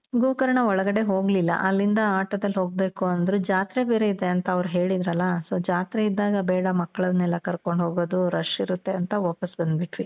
ಗೋಕರ್ಣ ಒಳಗಡೆ ಹೋಗಲಿಲ್ಲ. ಅಲ್ಲಿಂದ ಆಟೋದಲ್ಲಿ ಹೋಗ್ಬೇಕು ಅಂದ್ರು. ಜಾತ್ರೆ ಬೇರೆ ಇದೆ ಅಂತ ಅವ್ರು ಹೇಳಿದ್ರಲ, so ಜಾತ್ರೆ ಇದ್ದಾಗ ಬೇಡ ಮಕ್ಳನ್ನೆಲ್ಲ ಕರ್ಕೊಂಡು ಹೋಗೋದು rush ಇರುತ್ತೆ ಅಂತ ವಾಪಾಸ್ ಬಂದ್ಬುಟ್ವಿ .